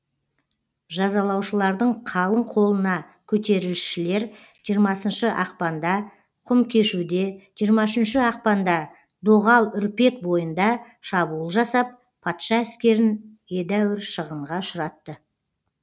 жазалаушылардың қалың қолына көтерісшілер жиырмасыншы ақпанда құмкешуде жиырма үшінші ақпанда доғал үрпек бойында шабуыл жасап патша әскерін едәуір шығынға ұшыратты